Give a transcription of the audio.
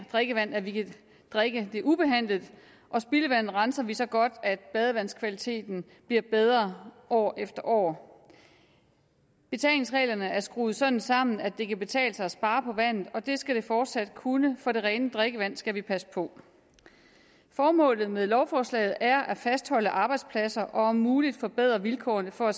drikkevand at vi kan drikke det ubehandlet og spildevandet renser vi så godt at badevandskvaliteten bliver bedre år efter år betalingsreglerne er skruet sådan sammen at det kan betale sig at spare på vandet og det skal det fortsat kunne for det rene drikkevand skal vi passe på formålet med lovforslaget er at fastholde arbejdspladser og om muligt at forbedre vilkårene for